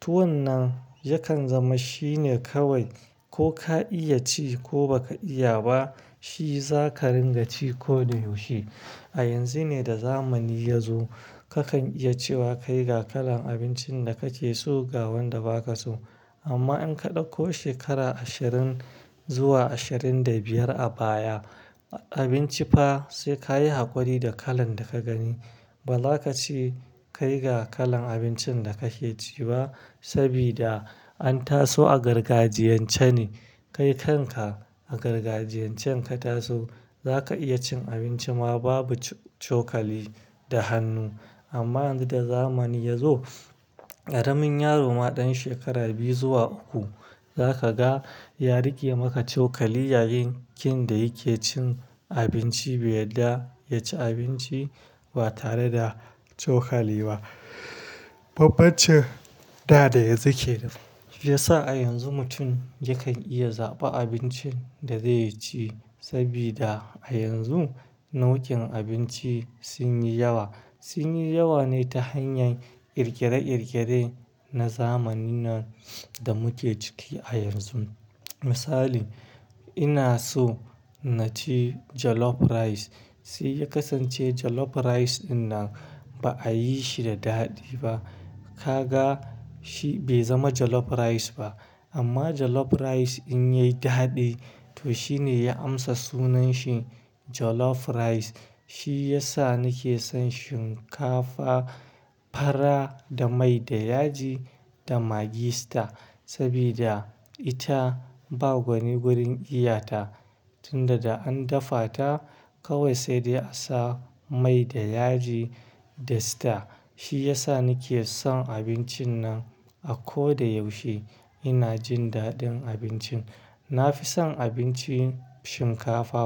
Tuwon nan yakan zama shine kawai ko ka iya ci ko ba ka iya ba shi za ka ringa ci ko da yaushe. A yanzu ne da zamani ya zo ka kan iya cewa kai ga kalan abincin da kake so ga wanda ba ka so. Amma in ka ɗauko shekara ashirin zuwa ashirin da biyar a baya, abinci fa sai ka yi haƙuri da kalan da ka gani. Ba za ka ce kai ga kalan abincin da ka ke ci ba sabida an taso a gargajiyan ce ne. Kai kanka a gargajiyan can ka taso za ka iya cin abinci ma babu cokali da hannu. Amma yanzu da zamani ya zo. Ƙaramin yaro ma ɗan shekara biyu zuwa uku. Za ka ga ya riƙe maka cokali yayin da yake cin abinci. Bai yarda ya ci abinci ba tare da cokali ba. Bambancin da dayanzu kenan, shiyasa a yanzu mutum yakan iya zaɓa abincin dazai ci, sabida a yanzu nau'in abinci sun yi yawa. Sun yi yawa ne ta hanyar ƙirƙire-ƙirƙire na zamanin nan da muke ciki a yanzu. Misali ina so na ci Jollof Rice sai ya kasance Jollof rRce ɗinnan ba a yi shi da daɗi ba. Ka ga shi bai zama jJollof Rice ba. Amma Jollof Rice in yayi daɗi to shi ne ya amsa sunan shi Jollof Rice. Shi ya sa ni ke son shinkafa Fara da mai da yaji da maggi star, sabida ita ba gwani gurin iya ta. Tunda da an dafa ta kawai sai dai a sa mai da yaji da sta. Shi ya sa ni ke son abincin nan a ko da yaushe. Ina jin daɗin abincin. Na fi son abincin shinkafa.